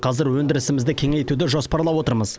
қазір өндірісімізді кеңейтуді жоспарлап отырмыз